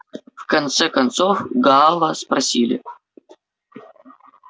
в конце концов гаала спросили